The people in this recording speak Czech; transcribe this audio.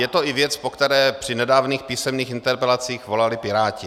Je to i věc, po které při nedávných písemných interpelacích volali Piráti.